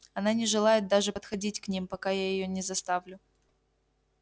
она не желает даже подходить к ним пока я её не заставлю